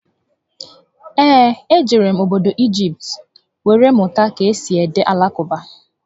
Ee, e jere m obodo Igipt were mụta ka esi ede Alakụba